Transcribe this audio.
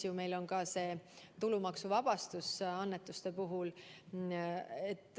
Meil on ju ka tulumaksuvabastus annetuste puhul.